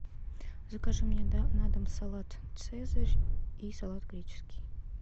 закажи мне на дом салат цезарь и салат греческий